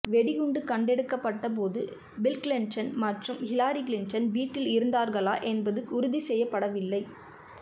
வெடிகுண்டு கண்டெடுக்கப்பட்ட போது பில் கிளிண்டன் மற்றும் ஹிலாரி கிளிண்டன் வீட்டில் இருந்தார்களா என்பது உறுதி செய்யப்படவில்லை